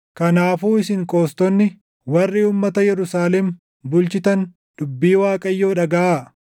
Kanaafuu isin qoostonni warri uummata Yerusaalem bulchitan dubbii // Waaqayyoo dhagaʼaa.